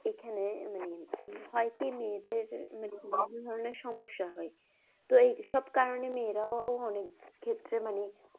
এখানে হয় কি মেয়েদের মেয়েদের বিভিন্ন রকমের সমস্যা হয়। তো এইসব কারনে মেয়েরাও অনেক ক্ষেত্রে মানে।